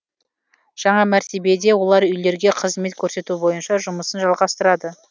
жаңа мәртебеде олар үйлерге қызмет көрсету бойынша жұмысын жалғастырады